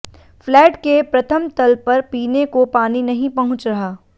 flat के प्रथम तल पर पीने को पानी नहीं पहुंच रहा